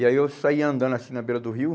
E aí eu saí andando assim na beira do rio.